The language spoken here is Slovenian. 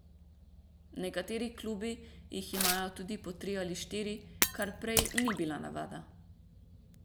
Nekateri klubi jih imajo tudi po tri ali štiri, kar prej ni bila navada.